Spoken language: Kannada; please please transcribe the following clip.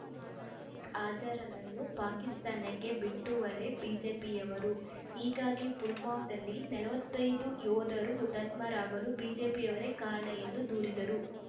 ಮಸೂದ್ ಅಜಾರ್ ನನ್ನು ಪಾಕಿಸ್ತಾನಕ್ಕೆ ಬಿಟ್ಟು ವರೇ ಬಿಜೆಪಿಯವರು ಹೀಗಾಗಿ ಪುಲ್ವಾಮದಲ್ಲಿ ನಲವತ್ತೈದು ಯೋಧರು ಹುತಾತ್ಮ ರಾಗಲು ಬಿಜೆಪಿಯವರೇ ಕಾರಣ ಎಂದು ದೂರಿದರು